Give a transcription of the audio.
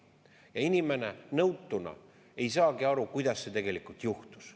Ja inimene nõutuna ei saagi aru, kuidas see tegelikult juhtus.